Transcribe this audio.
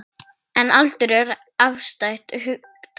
En aldur er afstætt hugtak.